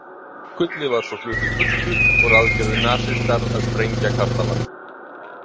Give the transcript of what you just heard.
Gullið var svo flutt í burtu og ráðgerðu nasistar að sprengja kastalann.